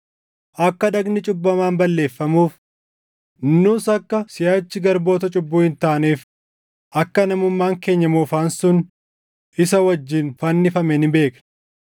Akka dhagni cubbamaan balleeffamuuf, nus akka siʼachi garboota cubbuu hin taaneef akka namummaan keenya moofaan sun isa wajjin fannifame ni beekna;